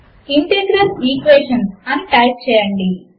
integral Equations అని type చేయండి